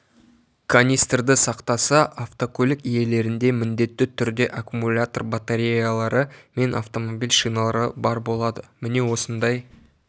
канистрді сақтаса автокөлік иелерінде міндетті түрде аккумлятор батареялары мен автомобиль шиналары бар болады міне осындай